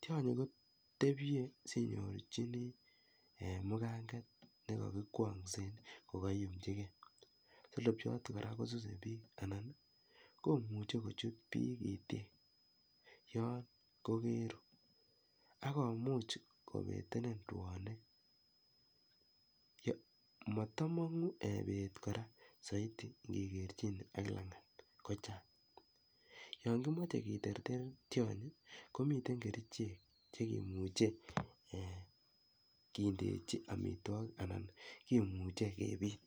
tianyi kotebie sinyorchini en muganget nekakikwamgsen kokayumchigei solobchat koraa kosuse bik anan komuche kochut bik itik Yan kokeru akomuche kobetenin rwanik matamangu bet koraa kegerchi en langatkochang yanimache keterter tianyi komiten kerchek kindechin amitwagik Anan kimuche kebit